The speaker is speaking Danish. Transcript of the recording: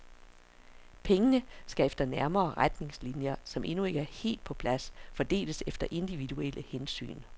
Pengene skal efter nærmere retningslinjer, som endnu ikke er helt på plads, fordeles efter individuelle hensyn.